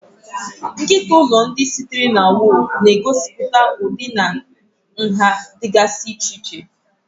Nkịta ụlọ, ndị sitere na woofu, na-egosipụta ụdị na nha dịgasị iche iche.